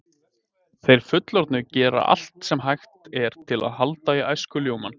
Þeir fullorðnu gera allt sem hægt er til að halda í æskuljómann.